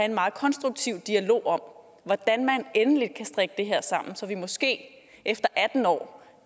en meget konstruktiv dialog om hvordan man endelig kan strikke det her sammen så vi måske efter atten år